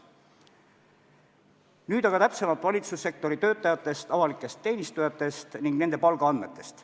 Nüüd aga täpsemalt valitsussektori töötajatest, avalikest teenistujatest ning nende palkadest.